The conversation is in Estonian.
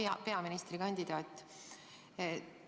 Hea peaministrikandidaat!